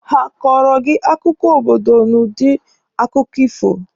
Ha akọọrọ gị akụkọ mbido obodo ụnụ n'udi akụkọ ifo?